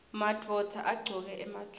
madvodza agcoka emajobo